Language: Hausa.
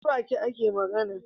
Ta Baki ake magAna